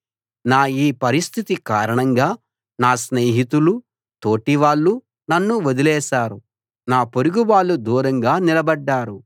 నా ఈ పరిస్థితి కారణంగా నా స్నేహితులూ తోటివాళ్ళూ నన్ను వదిలేశారు నా పొరుగువాళ్ళు దూరంగా నిలబడ్డారు